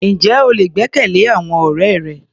Ǹjẹ́ o lè gbẹ́kẹ̀lé àwọn ọ̀rẹ́ rẹ?